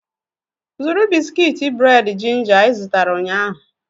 Zụrụ bisikiiti bred ginger ị zụtara ụnyahụ!